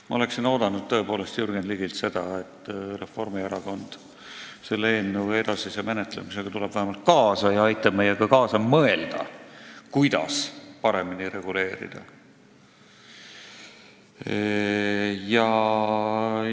Ma oleksin oodanud tõepoolest Jürgen Ligilt seda, et Reformierakond tuleb vähemalt selle eelnõu edasise menetlemisega kaasa ja aitab meiega koos mõelda, kuidas paremini reguleerida.